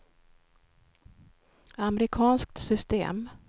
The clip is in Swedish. amerikanskt system